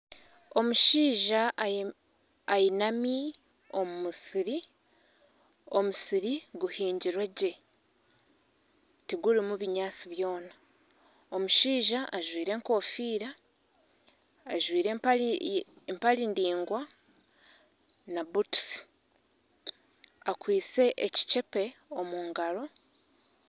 Omushaija ainami omu musiri omusiri guhingirwe gye tigurimu binyaatsi byona omushaija ajwaire enkofiira ajwaire empare ndaingwa na butusi akwaitse ekicepe omu ngaro